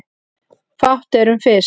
Fátt er um fisk